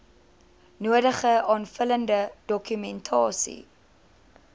nodige aanvullende dokumentasie